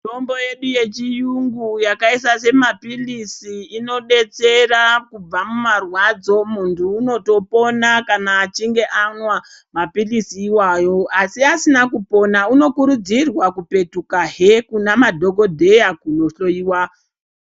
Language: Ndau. Mitombo yedu yechiyungu yakaita yemaphilisi inodetsera kubva mumarwadzo muntu unotopona kana achinge anwa maphilisi iwayo asi asina kupona unokurudzirwa kupetukahe kune madhokodheya kunohloyiwa.